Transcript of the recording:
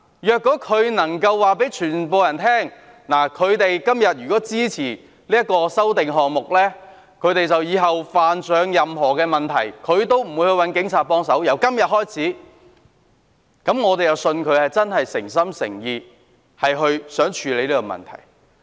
如果他們能夠告訴所有人，由今天開始，他們支持這些修正案後，日後如有任何問題，也不會找警察幫忙，那麼，我便相信他們是誠心誠意希望處理這個問題。